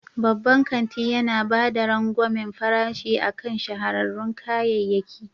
Babban kanti yana ba da rangwamen farashi akan shahararrun kayayyaki.